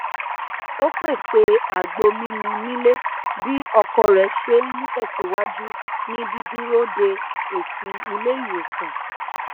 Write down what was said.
ó pèsè àgbo mímu nílé bí ọkọ rẹ ṣe n tẹsìwájú ní dídúró de èsì ilé ìwòsàn